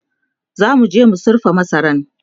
zamuje mu sirfa masaran